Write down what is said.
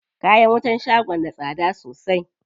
Kayan wutan shagon da tsada sosai.